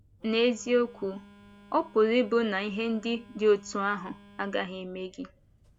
N’eziokwu, ọ̀ pụrụ ịbụ na ihe ndị dị otú ahụ agaghị emee gị.